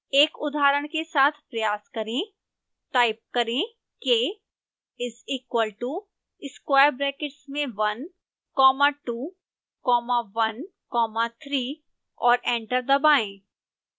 एक उदाहरण के साथ प्रयास करें टाइप करें k is equal to square brackets में one comma two comma one comma three और एंटर दबाएं